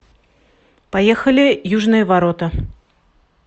поехали южные ворота